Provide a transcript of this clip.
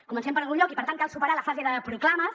comencem per algun lloc i per tant cal superar la fase de proclames